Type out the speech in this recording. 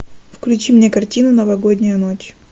включи мне картину новогодняя ночь